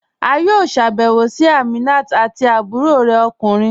A yọ̀ọ́ sábẹwò sí Àmínà àti àbúrọ̀ rẹ̀ okùnrin